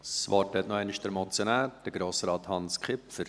Das Wort hat noch einmal der Motionär, Grossrat Hans Kipfer.